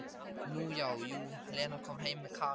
Nú já, jú, Lena kom heim með Kana.